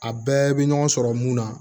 A bɛɛ bɛ ɲɔgɔn sɔrɔ mun na